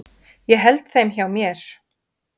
Ég held þeim hjá mér.